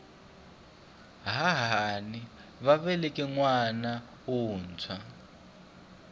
hahani va veleke nwana wuntshwa